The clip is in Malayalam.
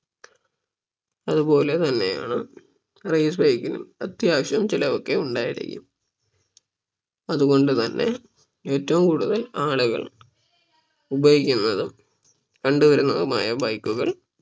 അതുപോലെ തന്നെയാണ് race bike നും അത്യാവശ്യം ചിലവ് ഒക്കെ ഉണ്ടായിരിക്കും അതുകൊണ്ട് തന്നെ ഏറ്റവും കൂടുതൽ ആളുകൾ ഉപയോഗിക്കുന്നതും കണ്ട് വരുന്നതുമായ bike കൾ